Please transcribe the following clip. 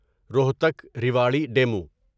Rohtak Rewari demo